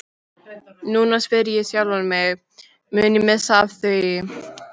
Núna spyr ég sjálfan mig, mun ég missa af því?